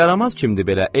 Bu yaramaz kimdir belə?